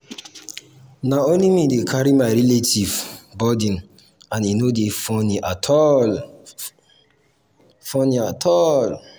na only me dey carry my relatives um burden and e no dey funny at all. funny at all.